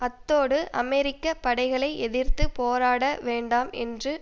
அத்தோடு அமெரிக்க படைகளை எதிர்த்து போராட வேண்டாம் என்று